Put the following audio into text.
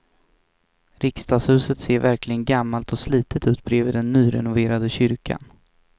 Riksdagshuset ser verkligen gammalt och slitet ut bredvid den nyrenoverade kyrkan.